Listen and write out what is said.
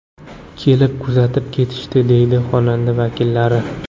Kelib tuzatib ketishdi”, deydi xonadon vakillari.